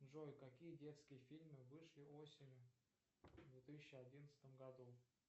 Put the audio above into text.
джой какие детские фильмы вышли осенью в две тысячи одиннадцатом году